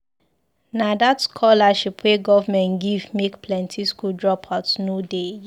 Na dat scholarship wey government give make plenty skool drop-out no dey again.